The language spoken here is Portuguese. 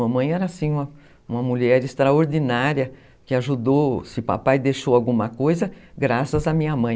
Mamãe era, assim, uma mulher extraordinária que ajudou, se papai deixou alguma coisa, graças à minha mãe.